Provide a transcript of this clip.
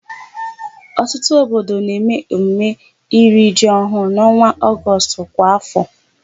Ọtụtụ obodo na-eme emume iri ji ọhụụ n'ọnwa Ọgọstụ kwa áfọ.